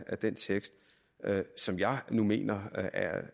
af den tekst som jeg nu mener